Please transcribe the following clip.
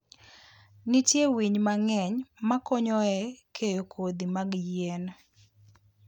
Nitie winy mang'eny makonyo e keyo kodhi mag yien.